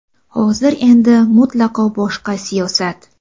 Hozir endi mutlaqo boshqa siyosat.